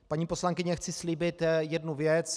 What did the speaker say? Paní poslankyně, chci slíbit jednu věc.